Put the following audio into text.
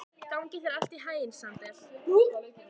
Gangi þér allt í haginn, Sandel.